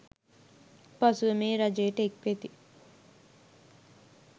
පසුව මේ රජයට එක්වෙති